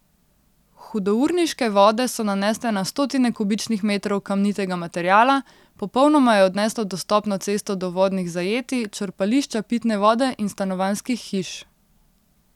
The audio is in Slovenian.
Hudourniške vode so nanesle na stotine kubičnih metrov kamnitega materiala, popolnoma je odneslo dostopno cesto do vodnih zajetij, črpališča pitne vode in stanovanjskih hiš.